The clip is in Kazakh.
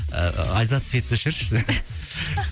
ыыы айзат светті өшірші